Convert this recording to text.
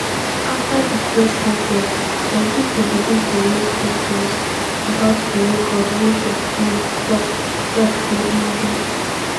afta di press conference some pipo begin to raise questions about di record wey chef smith tok tok say im get